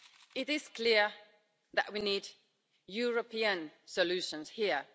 It is clear that we need European solutions here.